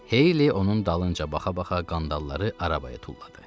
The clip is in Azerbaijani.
Heyli onun dalınca baxa-baxa qandalları arabaya tulladı.